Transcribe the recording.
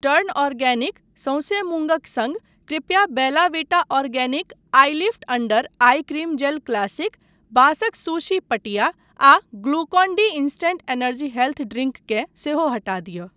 Turn organic, सौँसे मूँगक सङ्ग, कृपया Bella Vita organic eyelift under eye cream gel classic, बाँसक सुशी पटिया आ Glucon D instant energy health drink केँ सेहो हटा दिअ।